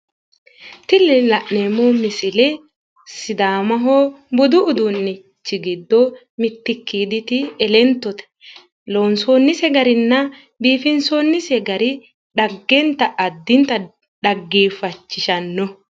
Tini la'neemmo misile sidaamaho budu uduunnichi giddo mittikkiiditi elentote. Loonsoonnise garinna biifinsoonnise gari addintanni xaggeeffachishannoho.